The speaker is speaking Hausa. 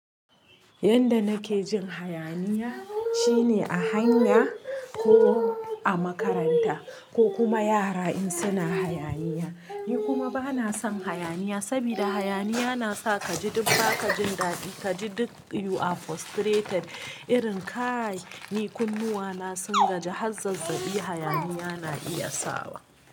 Yanda nake jin hayaniya shine a hanya ko a makaranta ko kuma yara in suna hayaniya. Ni kuma bana son hayaniya sabida hayaniya nasa kaji duk ba ka jin dadi kaji duk you are frustrated irin kai ni kunnuwa na sun gaji. Har zazzabi hayaniya na iya sawa.